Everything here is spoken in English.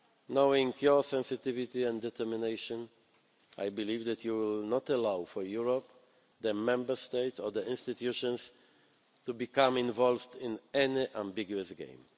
it. Knowing your sensitivity and determination, I believe that you will not allow for Europe, the Member States or the institutions, to become involved in any ambiguous game.